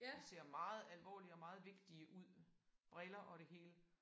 De ser meget alvorlige og meget vigtige ud. Briller og det hele